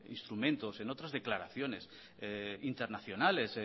instrumentos en otras declaraciones internacionales